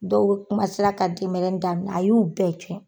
Dɔw ka denmɛrɛnin daminɛ a y'u bɛɛ cɛn.